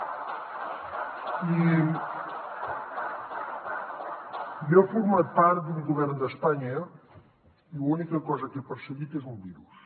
i jo he format part d’un govern d’espanya i l’única cosa que he perseguit és un virus